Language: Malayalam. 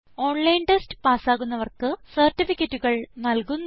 ഓൺലൈൻ ടെസ്റ്റ് പാസ് ആകുന്നവർക്ക് സർട്ടിഫിക്കറ്റുകൾ നല്കുന്നു